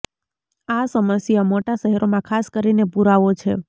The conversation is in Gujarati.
આ સમસ્યા મોટા શહેરોમાં ખાસ કરીને પૂરાવો છે